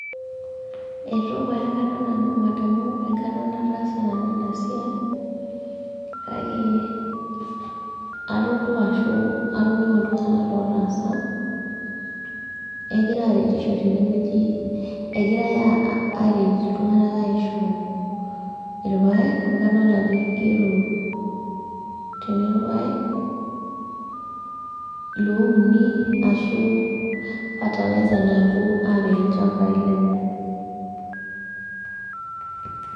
Eitu pae aekata nanu, madamu enkata nataasa nanu enasiai, kake, atodua ashu atoningo iltunganak lotaasa egira aretisho tine wueji , egirae aret iltunganak aisho irpaek amu kadolita ajo kigero tene irpaek louni ashu fertilizer napuo apik ilchambai lenye.